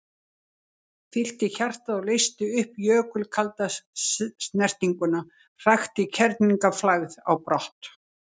Fyllti hjartað og leysti upp jökulkalda snertinguna, hrakti kerlingarflagð á brott.